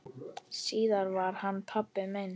Síðar varð hann pabbi minn.